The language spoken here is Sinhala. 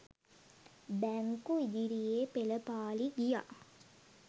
බැංකු ඉදිරියේ පෙළපාළි ගියා.